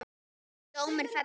Dómur fellur